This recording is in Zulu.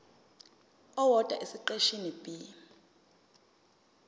owodwa esiqeshini b